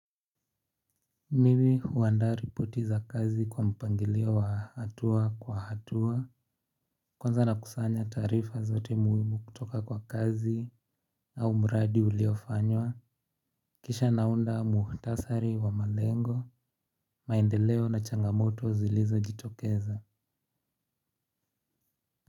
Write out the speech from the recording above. Mimi huandaa ripoti za kazi kwa mpangilio wa hatua kwa hatua. Kwanza na kusanya taarifa zote muhimu kutoka kwa kazi au mradi uliofanywa. Kisha naunda muhtasari wa malengo. Maendeleo na changamoto zilizo jitokeza.